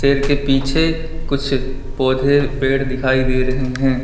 शेर के पीछे कुछ पौधे पेड़ दिखाई दे रहे हैं।